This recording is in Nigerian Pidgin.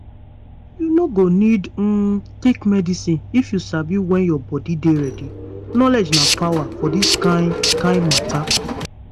you no go need um take medicine if you sabi when your body dey ready. knowledge na power for this kind kind matter.